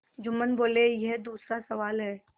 जुम्मन बोलेयह दूसरा सवाल है